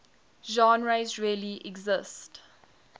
genres really exist